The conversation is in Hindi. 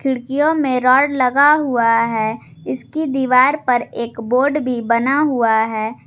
खिड़कियों में रॉड लगा हुआ है इसकी दीवार पर एक बोर्ड भी बना हुआ है।